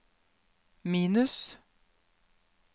minus